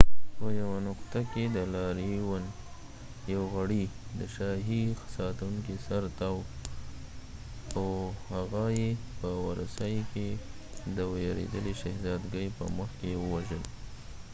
په یو نقطه کې د لاریون یو غړي د شاهي ساتونکي سر تاو او هغه یې په ورسای کې د ویرېدلې شهزادګۍ په مخ کې ووژل